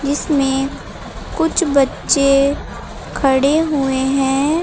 इसमें कुछ बच्चे खड़े हुए हैं।